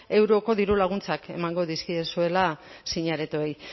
euroko dirulaguntzak emango dizkiezuela zine aretoei